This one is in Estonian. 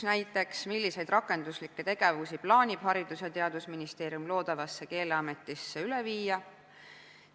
Näiteks, milliseid rakenduslikke tegevusi plaanib Haridus- ja Teadusministeerium loodavasse Keeleametisse üle viia?